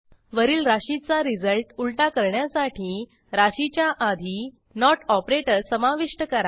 वरील राशीचा रिझल्ट उलटा करण्यासाठी राशीच्या आधी नोट ऑपरेटर समाविष्ट करा